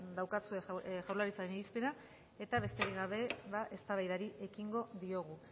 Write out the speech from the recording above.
daukazue jaurlaritzaren irizpena eta besterik gabe eztabaidari ekingo diogu